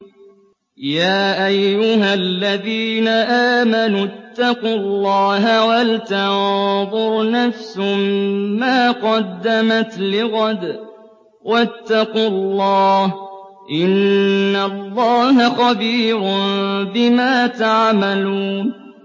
يَا أَيُّهَا الَّذِينَ آمَنُوا اتَّقُوا اللَّهَ وَلْتَنظُرْ نَفْسٌ مَّا قَدَّمَتْ لِغَدٍ ۖ وَاتَّقُوا اللَّهَ ۚ إِنَّ اللَّهَ خَبِيرٌ بِمَا تَعْمَلُونَ